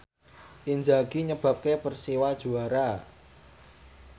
Inzaghi nyebabke Persiwa juara